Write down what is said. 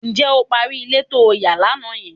Ǹjẹ́ o parí ilé to ń yà lánàá yẹn?